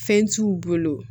Fɛn t'u bolo